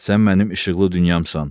Sən mənim işıqlı dünyamsan.